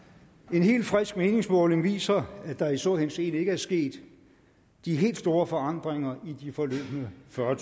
en helt frisk meningsmåling viser at der i så henseende ikke er sket de helt store forandringer i de forløbne fyrre